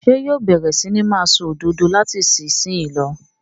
Ṣé yóò bẹ̀rẹ̀ sí ní máa ṣòdodo láti ìsìnyín lọ?